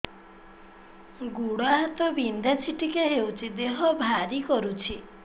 ଗୁଡ଼ ହାତ ବିନ୍ଧା ଛିଟିକା ହଉଚି ଦେହ ଭାରି କରୁଚି